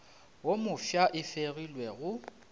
wo mofsa e fegilwe go